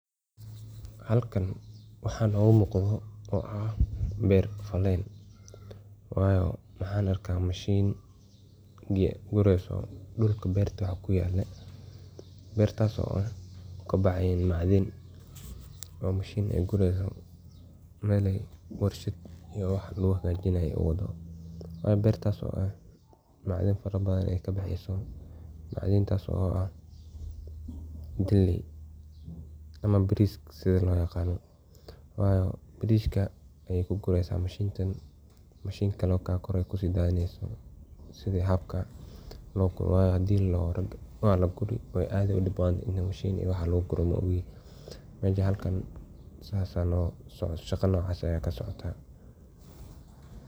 Halkan maxa nogu muqdho oo aah beer fallen wayo maxan arka mashiin gareyso dhulka beerta waxa kuyallo beertaso oo kabaxayan macdhan oo mashiin eey gureyso Mel warshad lugu hagajinayo wadho wayo beer taso aah macdhan farabadhan eey kabexeso macdhan macdhan taso aah galey ama beris sidha loyaqano wayo bariska ayey kugu reysa mashiin kaakore ayey kudadhinesa wayo walaguri dhib badhan waye waye waxa lagu guro mesha halkan sidhas Aya kasocota